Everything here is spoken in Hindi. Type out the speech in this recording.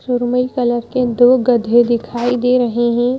सुरमई कलर के दो गधे दिखाई दे रहे हैं।